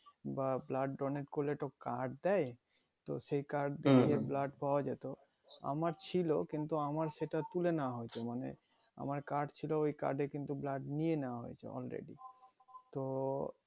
বা blood donate করতে তো card দেয় তো সেই card দিয়ে তো blood পাওয়া যেতো আমার ছিল কিন্তু আমার সেটা তুলে নেওয়া হয়েছে মানে আমার card ছিল ওই card এ কিন্তু blood নিয়ে নিয়া হয়েছে already